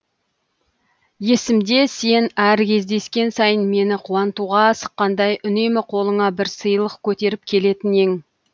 есімде сен әр кездескен сайын мені қуантуға асыққандай үнемі қолыңа бір сыйлық көтеріп келетін ең